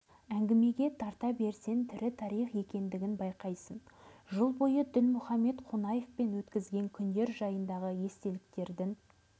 әңгімеге тарта берсең тірі тарих екендігін байқайсың жыл бойы дінмұхаммед қонаевпен өткізген күндер жайындағы естеліктердің